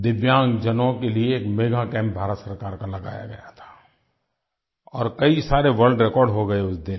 दिव्यांगजनों के लिये एक मेगा कैम्प भारत सरकार का लगाया गया था और कई सारे वर्ल्ड रेकॉर्ड हो गए उस दिन